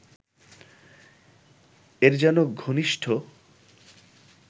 এর যেন ঘনিষ্ঠ